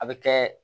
A bɛ kɛ